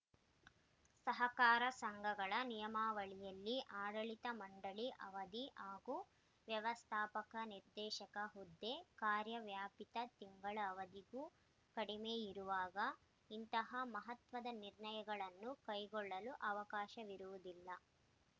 ಸಹಕಾರ ಸಂಘಗಳ ನಿಯಮಾವಳಿಯಲ್ಲಿ ಆಡಳಿತ ಮಂಡಳಿ ಅವಧಿ ಹಾಗೂ ವ್ಯವಸ್ಥಾಪಕ ನಿರ್ದೇಶಕರ ಹುದ್ದೆ ಕಾರ್ಯವ್ಯಾಪ್ತಿ ತಿಂಗಳ ಅವಧಿಗೂ ಕಡಿಮೆ ಇರುವಾಗ ಇಂತಹ ಮಹತ್ವದ ನಿರ್ಣಯಗಳನ್ನು ಕೈಗೊಳ್ಳಲು ಅವಕಾಶವಿರುವುದಿಲ್ಲ